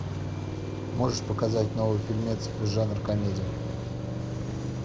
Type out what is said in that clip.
можешь показать новый фильмец жанр комедия